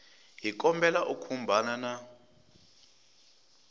hi kombela u khumbana na